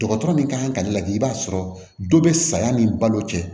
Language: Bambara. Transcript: Dɔgɔtɔrɔ min kan ka lajɛ i b'a sɔrɔ dɔ bɛ saya ni balo cɛ